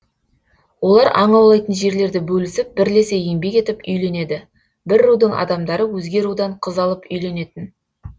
олар аң аулайтын жерлерді бөлісіп бірлесе еңбек етіп үйленеді бір рудың адамдары өзге рудан қыз алып үйленетін